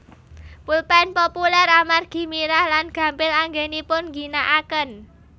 Pulpén populér amargi mirah lan gampil anggenipun ngginakaken